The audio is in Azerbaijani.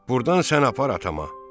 Burdan sən apar atama.